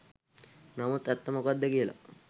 නමුත් ඇත්ත මොකද්ද කියලා